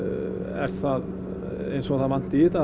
er það eins og að það vanti í þetta